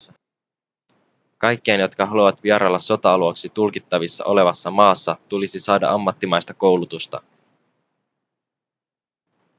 kaikkien jotka haluavat vierailla sota-alueeksi tulkittavissa olevassa maassa tulisi saada ammattimaista koulutusta